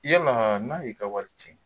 Yala n'a y'i ka wari tiɲɛ?